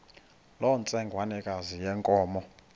loo ntsengwanekazi yenkomo